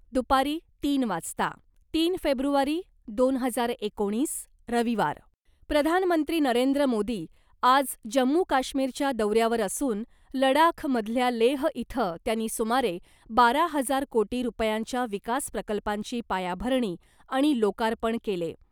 दुपारी तीन वाजता, तीन फेब्रुवारी , दोन हजार एकोणीस, रविवार , प्रधानमंत्री नरेंद्र मोदी आज जम्मू काश्मीरच्या दौऱ्यावर असून लडाख मधल्या लेह इथं त्यांनी सुमारे बारा हजार कोटी रुपयांच्या विकास प्रकल्पांची पायाभरणी आणि लोकार्पण केले .